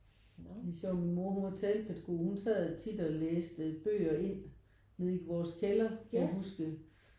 Det er sjovt min mor hun var tapet god. Hun sad tit og læste bøger ind nede i vores kælder kan jeg huske